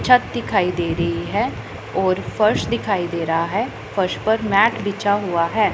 छत दिखाई दे रहा है और फर्श दिखाई दे रहा है फर्श पर मैट बिछा हुआ है।